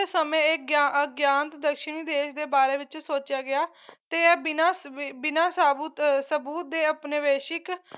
ਸਮੇਂ ਇਹ ਅਗ ਅਗਿਆਨ ਦਸ਼ਣੀ ਦੇਸ਼ ਦੇ ਬਾਰੇ ਵਿੱਚ ਸੋਚਿਆ ਗਿਆ ਤੇ ਐ ਬਿਨਾਂ ਅਹ ਸਾਬੁਤ ਅਹ ਸਬੂਤ ਦੇ ਅਪਨਵੇਸ਼ਿਕ